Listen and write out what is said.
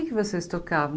O que vocês tocavam?